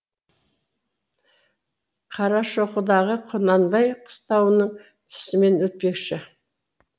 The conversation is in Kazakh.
қарашоқыдағы құнанбай қыстауының тұсымен өтпекші